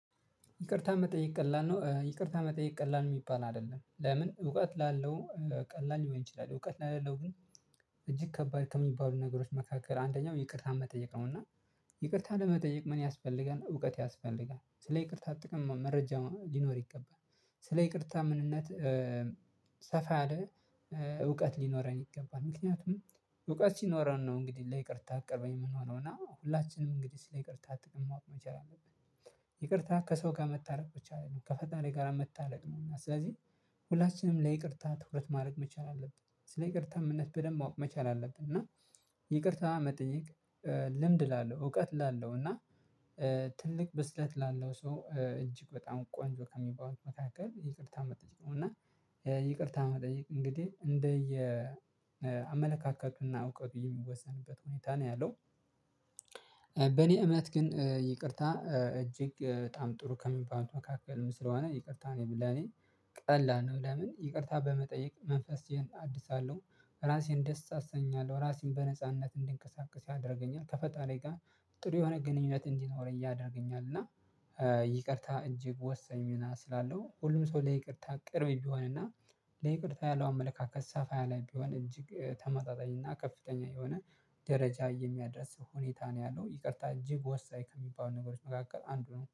ይቅርታ መጠየቅ ቀላል ነው? ይቅርታ መጠየቅ ቀላል የሚባል አይደለም። ለምን እውቀት ላለው ቀላል ሊሆን ይችላል። እውቀት ለሌለው ግን እጅግ ከባድ ከሚባሉ ነገሮች መካከል አንደኛው ይቅርታ መጠየቅ ነው። እና ይቅርታ ለመጠየቅ ምን ያስፈልጋል እውቀት ያስፈልጋል። ስለ ይቅርታ ጥቅም መረጃ ሊኖር ይገባል። ስለ ይቅርታ ምንነት ሰፋ ያለ ሊኖረን ይገባል። ምክንያቱም እውቀት ሲኖረን ነው እንግዲህ ለይቅርታ ቅርብ የምንሆነው እና ሁላችንም እንግዲህ ስለ ይቅርታ ጥቅም ማወቅ መቻል አለብን። ይቅርታ ከሰው ጋር መታረቅ ብቻ አይደለም፤ ከፈጣሪ ጋር መታረቅም ነው። ስለዚህ ሁላችንም ለይቅርታ ትኩረት ማድረግ መቻል አለብን። ስለይቅርታ ምንነት በደንብ ማወቅ መቻል አለብን። እና ይቅርታ መጠየቅ ልምድ ላለው እውቀት ላለሁ እና ትልቅ ብስለት ላለው ሰው እጅግ በጣም ቆንጆ ከሚባሉት መካከል ይቅርታ መጠየቅ ነው እና ይቅርታ መጠየቅ እንግዲህ እንደ የ አመለካከቱና እውቀቱ የሚወሰንበት ሁኔታ ነው ያለው። በእኔ እምነት ግን ይቅርታ እጅግ በጣም ጥሩ ከሚባሉ መካከልም ስለሆነ ይቅርታ ለኔ ቀላል ነው። ለምን ይቅርታ በመጠየቅ መንፈሴን አድሳለሁ። ራሴን ደስ አሰኛለሁ። ራሴን በነጻነት እንዲንቀሳቀስ ያደርገኛል። ከፈጣሪ ጋር ጥሩ የሆነ ግንኙነት እንዲኖረኝ ያደርገኛል። እና ይቅርታ እጅግ ወሳኝ ሚና ስላለው ሁሉም ሰው ለይቅርታ ቅርብ ቢሆንና ለይቅርታ ያለው አመለካከት ሰፋ ያለ ቢሆን እጅግ ተመጣጣኝና ከፍተኛ የሆነ ደረጃ የሚያደርስ ሁኔታ ነው ያለው። ይቅርታ እጅግ ወሳኝ ከሚባሉ ነገሮች መካከል አንዱ ነው።